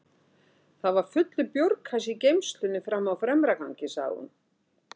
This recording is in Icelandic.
Það var fullur bjórkassi í geymslunni frammi á fremra gangi, sagði hún.